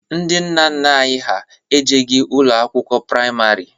Ndị nna nna ha ejeghi ụlọ akwụkwọ praịmarị.